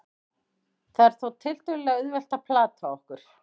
það er þó tiltölulega auðvelt að plata okkur